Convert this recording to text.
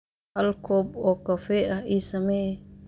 hal koob oo kafee ah Ii sammee